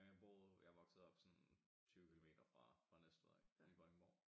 Jeg boede jeg voksede op sådan 20 kilometer fra fra Næstved af i Vordingborg